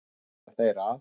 Svo ætla þeir að?